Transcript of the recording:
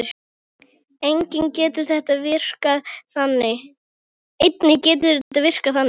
Einnig getur þetta virkað þannig